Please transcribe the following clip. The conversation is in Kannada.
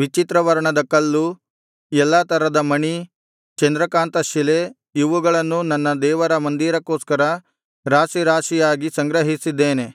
ವಿಚಿತ್ರ ವರ್ಣದ ಕಲ್ಲು ಎಲ್ಲಾ ತರದ ಮಣಿ ಚಂದ್ರಕಾಂತಶಿಲೆ ಇವುಗಳನ್ನೂ ನನ್ನ ದೇವರ ಮಂದಿರಕ್ಕೋಸ್ಕರ ರಾಶಿ ರಾಶಿಯಾಗಿ ಸಂಗ್ರಹಿಸಿದ್ದೇನೆ